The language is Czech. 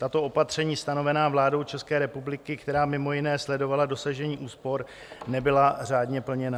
Tato opatření stanovená vládou České republiky, která mimo jiné sledovala dosažení úspor, nebyla řádně plněna.